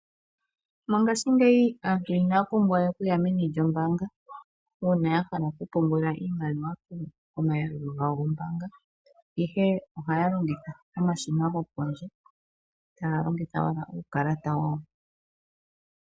Mongaashingeyi aantu inaa pumbwa we okuya meni lyombaanga uuna ya hala okupungula iimaliwa komayalulo gawo gombaanga, ihe ohaya longitha omashina gopondje taya longitha wo uukalata wawo.